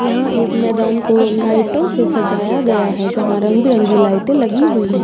यहाँ एक मैदान को लाइटों से सजाया गया है जहाँ रंग -बिरंगी लाइटें लगी हुई हैं।